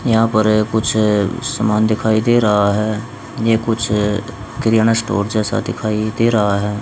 यहां पर कुछ सामान दिखाई दे रहा है। ये कुछ किराना स्टोर जैसा दिखाई दे रहा है।